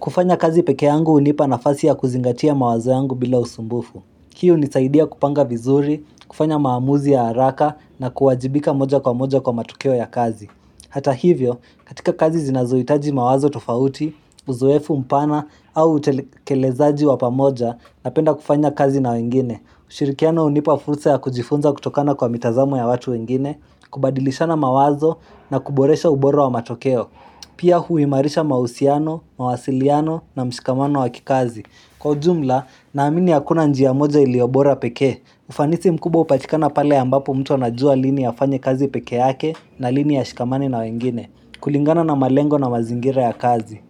kufanya kazi pekee yangu unipa nafasi ya kuzingatia mawazo yangu bila usumbufu Hii unisaidia kupanga vizuri, kufanya maamuzi ya haraka na kuwajibika moja kwa moja kwa matukeo ya kazi Hata hivyo, katika kazi zinazoitaji mawazo tofauti, uzoefu mpana au utekelezaaji wapamoja napenda kufanya kazi na wengine. Ushirikiano unipa fursa ya kujifunza kutokana kwa mitazamo ya watu wengine, kubadilishana mawazo na kuboresha uboro wa matokeo. Pia huimarisha mahusiano, mawasiliano na mshikamano wa kikazi. Kwa ujumla, naamini hakuna njia moja iliyobora peke, ufanisi mkubwa upatikana pale ambapo mtu anajua lini afanye kazi pekee yake na lini ashikamani na wengine, kulingana na malengo na mazingira ya kazi.